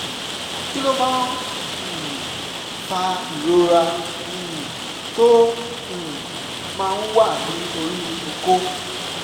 kí ló máa um ń fa ìrora um tó um máa ń wà ní orí okó?